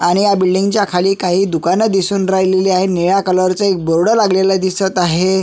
आणि ह्या बिल्डिंग च्या खाली काही दुकान दिसून राहिले आहे निळ्या कलर चा एक बोर्ड लागलेला दिसत आहे.